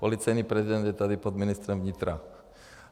Policejní prezident je tady pod ministrem vnitra.